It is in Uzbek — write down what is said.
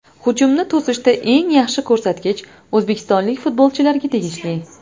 Hujumni to‘sishda eng yaxshi ko‘rsatkich o‘zbekistonlik futbolchilarga tegishli.